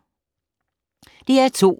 DR2